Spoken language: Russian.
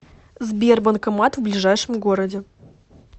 сбер банкомат в ближайшем городе